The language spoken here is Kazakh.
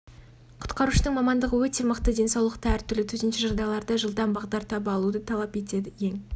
құтқарушының мамандығы өте мықты денсаулықты әр түрлі төтенше жағдайларда жылдам бағдар таба алуды талап етеді ең